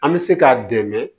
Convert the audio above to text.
An bɛ se k'a dɛmɛ